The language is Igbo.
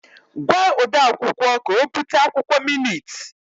Gwa ode akwukwọ ka o bute akwụkwọ minit!